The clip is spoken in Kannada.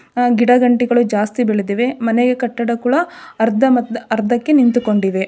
ಅ ಗಿಡ ಗಂಟಿಗಳು ಜಾಸ್ತಿ ಬೆಳೆದಿವೆ ಮನೆಗೆ ಕಟ್ಟಡ ಕೂಡ ಅರ್ಧಮರ್ಧ ಅರ್ಧಕ್ಕೆ ನಿಂತುಕೊಂಡಿವೆ.